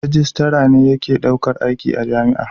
Rijistara ne yake daukar aiki a jami'a.